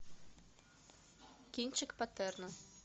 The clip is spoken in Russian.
кинчик паттерна